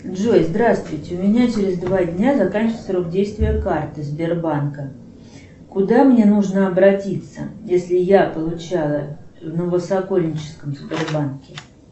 джой здравствуйте у меня через два дня заканчивается срок действия карты сбербанка куда мне нужно обратиться если я получала в новосокольническом сбербанке